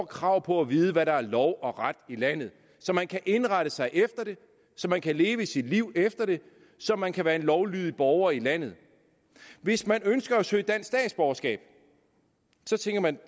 krav på at vide hvad der er lov og ret i landet så man kan indrette sig efter det så man kan leve sit liv efter det så man kan være en lovlydig borger i landet hvis man ønsker at søge dansk statsborgerskab så tænker man